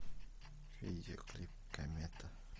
видеоклип комета